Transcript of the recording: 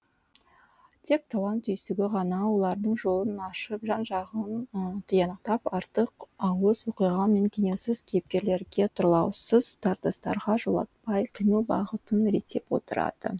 тек талант түйсігі ғана олардың жолын ашып жан жағын тиянақтап артық ауыс оқиға мен кенеусіз кейіпкерлерге тұрлаусыз тартыстарға жолатпай қимыл бағытын реттеп отырады